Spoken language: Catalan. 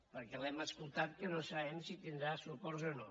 perquè l’hem escoltat que no sap si tindrà suports o no